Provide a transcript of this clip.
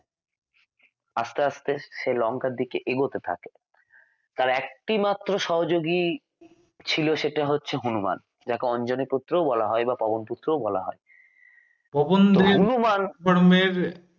আস্তে আস্তে সে লঙ্কার দিকে এগোতে থাকে তাঁর একটিমাত্র সহযোগী ছিল সেটা হচ্ছে হনুমান যাঁকে অঞ্জনী ই পুত্রও বলা হয় বা পবন পুত্রও বলা হয় তো হনুমান